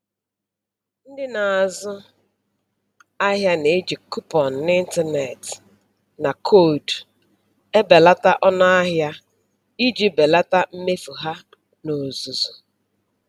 Ndị na-azụ ahịa na-eji kuponụ n'ịntanetị na koodu, ebelata ọnụ ahịa iji belata mmefu ha n'ozuzu